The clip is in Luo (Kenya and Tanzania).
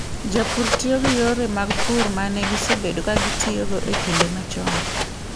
Jopur tiyo gi yore mag pur ma ne gisebedo ka gitiyogo e kinde machon.